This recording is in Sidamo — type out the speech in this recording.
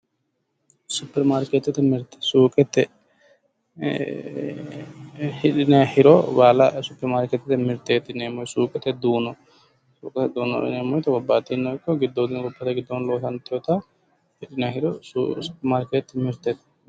Supperimaarkeettete mirte suuqete hidhinayi hiro baala supperimaarkeettete mirteeti yineemmo suuqete duuno suuqete duunono yineemmo woyite gobbayidiino ikko goddoodii gobbate giddoo loosantiwota hidhinayi hiro supperimaarkeettete mirteeti.